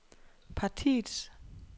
partiets